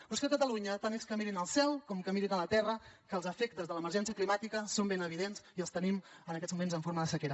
però és que a catalunya tant és que mirin al cel com que mirin a la terra que els efectes de l’emergència climàtica són ben evidents i els tenim en aquests moments en forma de sequera